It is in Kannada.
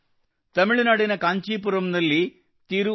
ತಮಿಳುನಾಡಿನಲ್ಲಿ ಕಾಂಚೀಪುರಂನಲ್ಲಿ ಥಿರು ಕೆ